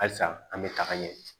Halisa an bɛ taga ɲɛ